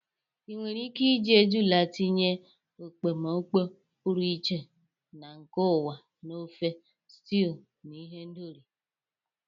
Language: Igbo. Ị nwere ike iji ejula tinye ekpomeekpo pụrụ iche na nke ụwa na ofe, stews, na ihendori.